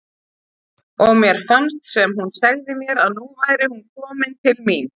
Og mér fannst sem hún segði mér að nú væri hún komin til mín.